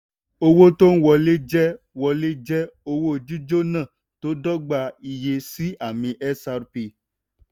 owó tó ń wọlé jẹ́ wọlé jẹ́ owó jíjọ́nà tó dọ́gba iye sí àmì xrp